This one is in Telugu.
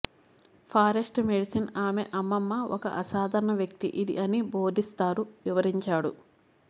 ఫారెస్ట్ మెడిసిన్ ఆమె అమ్మమ్మ ఒక అసాధారణ వ్యక్తి ఇది అన్ని బోధిస్తారు వివరించాడు